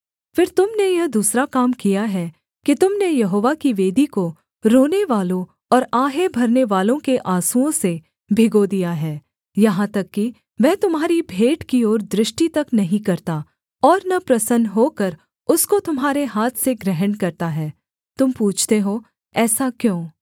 फिर तुम ने यह दूसरा काम किया है कि तुम ने यहोवा की वेदी को रोनेवालों और आहें भरनेवालों के आँसुओं से भिगो दिया है यहाँ तक कि वह तुम्हारी भेंट की ओर दृष्टि तक नहीं करता और न प्रसन्न होकर उसको तुम्हारे हाथ से ग्रहण करता है तुम पूछते हो ऐसा क्यों